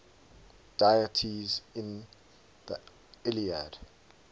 deities in the iliad